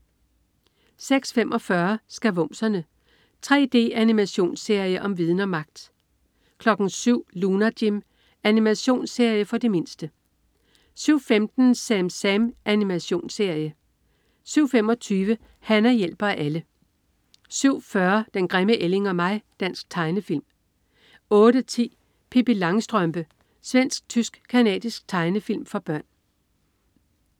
06.45 Skavumserne. 3D-animationsserie om viden og magt! 07.00 Lunar Jim. Animationsserie for de mindste 07.15 SamSam. Animationsserie 07.25 Hana hjælper alle 07.40 Den grimme ælling og mig. Dansk tegnefilm 08.10 Pippi Langstrømpe. Svensk-tysk-canadisk tegnefilm for børn